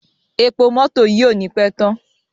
Epo mótò yìí ò ní pé tán.